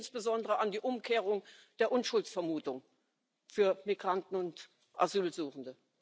Ich denke insbesondere an die Umkehrung der Unschuldsvermutung für Migranten und Asylsuchende.